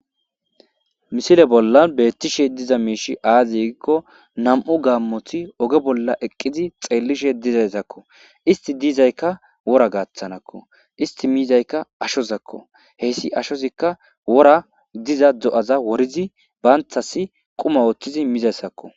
misile bollan beettishe diza miishi aayigikko nam7u gaammothi oge bolla eqqizi xeellishe dizayssakko isti diizaykka wora gaaththanakko isti miizayka ashozakko heyssi ashozikka wora diza do7aza worizi baanthasi quma ooththizi miizayssakko